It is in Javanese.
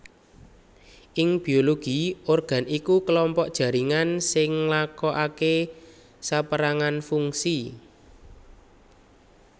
Ing biologi organ iku klompok jaringan sing nglakoaké sapérangan fungsi